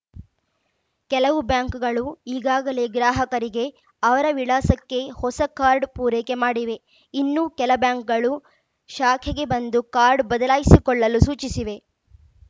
ಕೆಲವು ಬ್ಯಾಂಕ್‌ಗಳು ಈಗಾಗಲೇ ಗ್ರಾಹಕರಿಗೆ ಅವರ ವಿಳಾಸಕ್ಕೇ ಹೊಸ ಕಾರ್ಡ್‌ ಪೂರೈಕೆ ಮಾಡಿವೆ ಇನ್ನು ಕೆಲ ಬ್ಯಾಂಕ್‌ಗಳು ಶಾಖೆಗೆ ಬಂದು ಕಾಡ್‌ ಬದಲಾಯಿಸಿಕೊಳ್ಳಲು ಸೂಚಿಸಿವೆ